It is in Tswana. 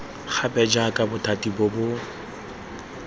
gape jaaka bothati bo bo